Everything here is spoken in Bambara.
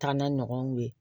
Taa n'a ɲɔgɔn ye